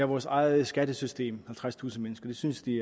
vores eget skattesystem halvtredstusind mennesker synes de